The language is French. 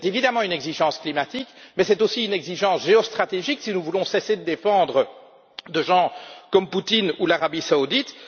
C'est évidemment une exigence climatique, mais c'est aussi une exigence géostratégique si nous voulons cesser de défendre des gens comme Poutine ou l'Arabie saoudite.